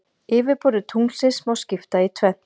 Yfirborði tunglsins má skipta í tvennt.